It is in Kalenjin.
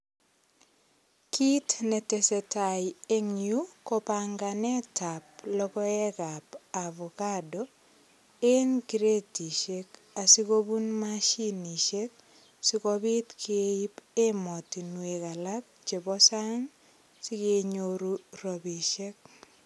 Kit netesetai eng yu kopanganet ab logoekab avokado en kretisiek kobun mashinisiek sigopit keip ematunwek alak chebo sang sikenyon rapisiek.